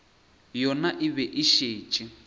yona e be e šetše